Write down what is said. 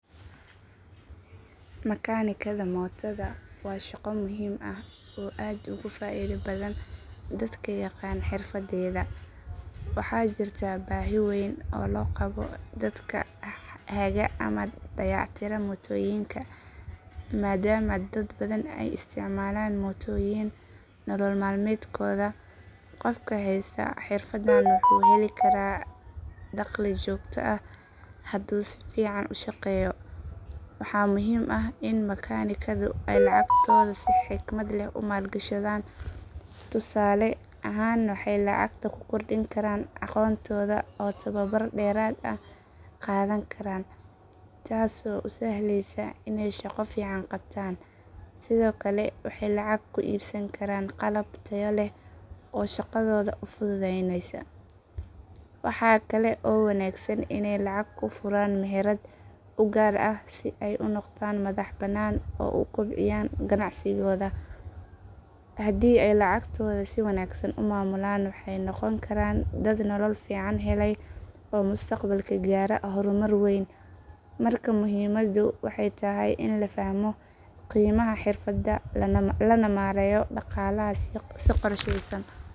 Makaanikada mootada waa shaqo muhiim ah oo aad ugu faa'iido badan dadka yaqaan xirfaddeeda. Waxaa jirta baahi weyn oo loo qabo dadka haga ama dayactira mootooyinka, maadaama dad badan ay isticmaalaan mootooyin nolol maalmeedkooda. Qofka haysta xirfaddan wuxuu heli karaa dakhli joogto ah hadduu si fiican u shaqeeyo. Waxaa muhiim ah in makaanikadu ay lacagtooda si xikmad leh u maalgashadaan. Tusaale ahaan waxay lacag ku kordhin karaan aqoontooda oo tababar dheeraad ah qaadan karaan, taasoo u sahlaysa inay shaqo fiican qabtaan. Sidoo kale waxay lacag ku iibsan karaan qalab tayo leh oo shaqadooda u fududaynaya. Waxaa kale oo wanaagsan inay lacag ku furaan meherad u gaar ah si ay u noqdaan madax bannaan oo u kobciya ganacsigooda. Haddii ay lacagtooda si wanaagsan u maamulaan waxay noqon karaan dad nolol fiican helay oo mustaqbalka gaara horumar weyn. Markaa muhiimadu waxay tahay in la fahmo qiimaha xirfadda lana maareeyo dhaqaalaha si qorshaysan.